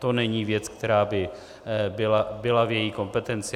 To není věc, která by byla v její kompetenci.